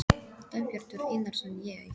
Dagbjartur Einarsson: Ég?